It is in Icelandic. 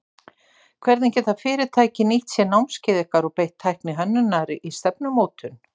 Hvernig geta fyrirtæki nýtt sér námskeið ykkar og beitt tækni hönnunar í stefnumótun?